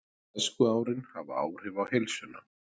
Æskuárin hafa áhrif á heilsuna